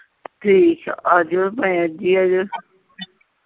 ਠੀਕ ਆ ਆ ਜਾਇਓ ਭਾਵੇਂ ਅੱਜ ਈ ਆਜੋ।